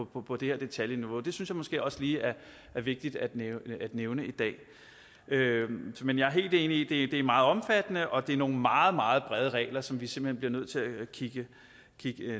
på på det her detaljeniveau det synes jeg måske også lige er vigtigt at nævne i dag men jeg er helt enig i at det er meget omfattende og at det er nogle meget meget brede regler som vi simpelt hen bliver nødt til at kigge